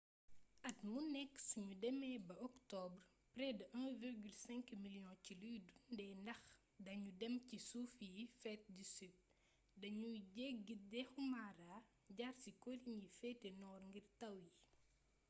at mu nekk suñu demee ba octobre près de 1,5 million ci luy dundee ñax dañu dem ci suufi yi féte sud dañuy jéggi dexu mara jaar ci colline yi féete nord ngir taw yi